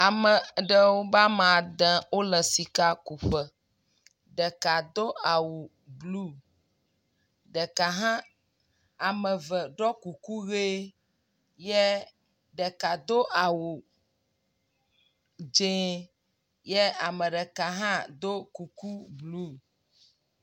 Ame aɖewo ba ma ade wole sika ku ƒe. Ɖeka do awu blu. ɖeka hã, eme eve ɖɔ kuku ʋi ye ɖeka do awu dz0 ye ame ɖeka hã do kuku blu